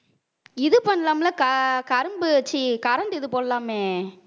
இது பண்ணலாம்ல அக்கா கரும்பு ச்சீ current இது போடலாமே